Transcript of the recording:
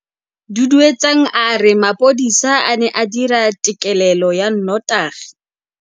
Duduetsang a re mapodisa a ne a dira têkêlêlô ya nnotagi.